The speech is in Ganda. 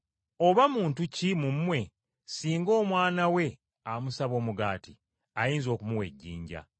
“Oba muntu ki mu mmwe singa omwana we amusaba omugaati, ayinza okumuwa ejjinja?